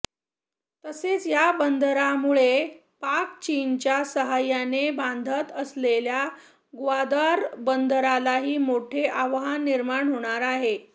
तसेच या बंदरामुळे पाक चीनच्या साहाय्याने बांधत असलेल्या ग्वादर बंदरालाही मोठे आव्हान निर्माण होणार आहे